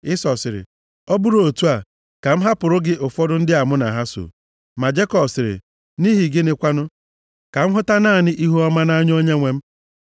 Ịsọ sịrị, “Ọ bụrụ otu a, ka m hapụrụ gị ụfọdụ ndị a mụ na ha so.” Ma Jekọb sịrị, “Nʼihi gịnị kwanụ? Ka m hụta naanị ihuọma nʼanya onyenwe m.”